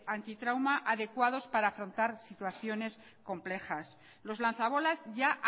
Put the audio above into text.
antitrauma adecuados para afrontar situaciones complejas los lanza bolas ya